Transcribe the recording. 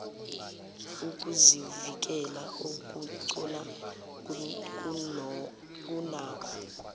ukuzivikela okugcono kunakho